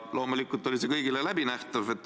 Loomulikult oli see kõigile läbinähtav.